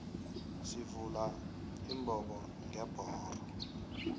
sivula imbobongebhoxo